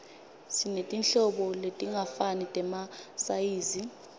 sinetinhlobo letingafani temasayizi